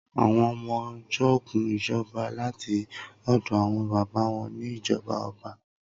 Awọn ọmọ jogún ìjọba láti ọ̀dọ̀ àwọn baba wọn ni ijọba ọba